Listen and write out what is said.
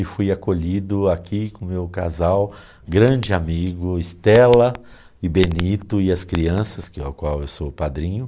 E fui acolhido aqui com o meu casal, grande amigo, Estela e Benito e as crianças, que a qual eu sou padrinho.